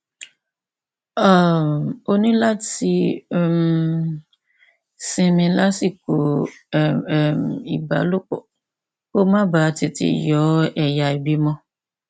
um o ní láti um sinmi lásìkò um ìbálòpọ kó o má bàa tètè yọ ẹyà ìbímọ